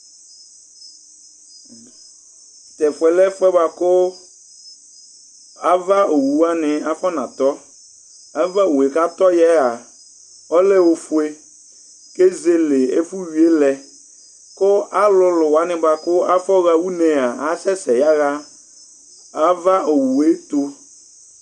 Tu ɛfʋɛ lɛ ɛfʋɛ bʋakʋ ava owu waŋi afɔnatɔ Ava owue kʋ atɔya'a ɔlɛ ɔfʋe kʋ ezele ɛfuwʋi lɛ kʋ alʋlʋ waŋi kʋ afɔha ʋne'a asɛsɛ yaha ava owue tu